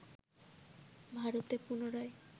ভারতে পুনরায়